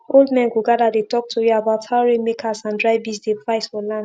old men go gather dey talk tori about how rainmakers and dry breeze dey fight for land